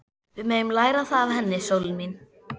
Við megum læra það af henni, sólin mín.